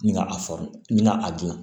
Nin ka a n ka a dilan